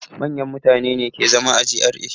Manyan mutane ne ke zama a GRA.